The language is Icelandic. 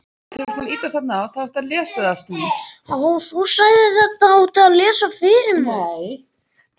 Immanúel, hvað er á innkaupalistanum mínum?